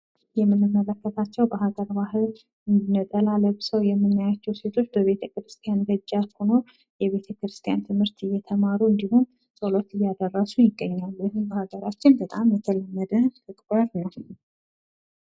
የምንመለከታቸው በሀገር ባህል ነጠላ ለብሰው የቆሙ ሴቶች በቤተ-ክርስቲያን ደጃፍ ሁነው የቤተ-ክርስቲያን ትምህርት እየተማሩ እንዲሁም ጸሎት እያደረሱ ይገኛሉ። ይህም በሀገራችን በጣም የተለመደ ተግባር ነው።